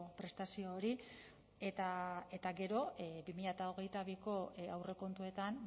prestazio hori eta gero bi mila hogeita biko aurrekontuetan